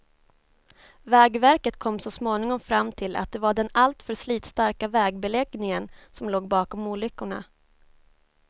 Vägverket kom så småningom fram till att det var den alltför slitstarka vägbeläggningen som låg bakom olyckorna.